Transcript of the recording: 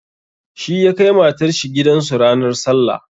Shi ya kai matar shi gidan su ranar sallah.